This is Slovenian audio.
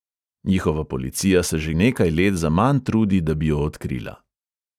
Njihova policija se že nekaj let zaman trudi, da bi jo odkrila.